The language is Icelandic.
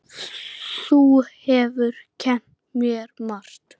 Þú hefur kennt mér margt.